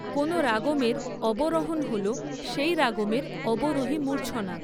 কোনও রাগমের অবরোহণ হল, সেই রাগমের অবরোহী মূর্ছনা।